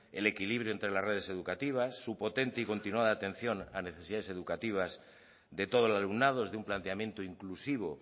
el equilibrio entre las redes educativas su potente y continuada atención a necesidades educativas de todo el alumnado desde un planteamiento inclusivo